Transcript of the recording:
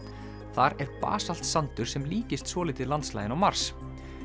þar er sandur sem líkist svolítið landslaginu á Mars